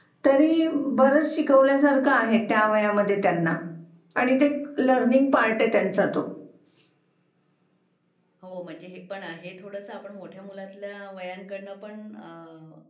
जिथे बघाव तिथे हेच ऐकायला मिळतंय, की मुलगी बाहेर जाण सुद्धा तिच्या तिला अवघड झालय.की जरी तिच्या मनात एक भीती असते की बाहेर गेले त माझ्या सोबत काय तरी होईल.